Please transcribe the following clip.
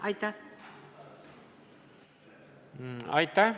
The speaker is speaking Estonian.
Aitäh!